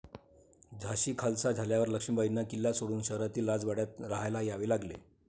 झाशी खालसा झाल्यावर लक्ष्मीबाईंना किल्ला सोडून शहरातील राजवाड्यात राहायला यावे लागले.